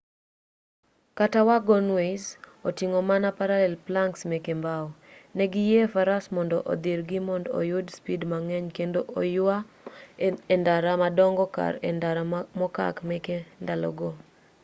kata wagonways oting'o mana parallel planks meke mbao ne giyie faras mond odhirgi mond oyud speed mang'eny kendo oyua e ndara madongo kar e ndara mokak meke ndalogo